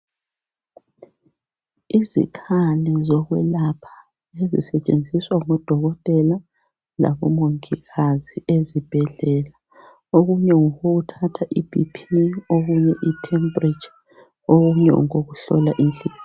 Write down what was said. Izikhali zokwelapha ezisetshenziswa ngu Dokotela labo Mongikazi ezibhedlela .Okunye ngokokuthatha iBP okunye itemperature , okunye ngokokuhlola inhliziyo.